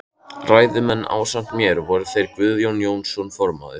Ræðumenn ásamt mér voru þeir Guðjón Jónsson formaður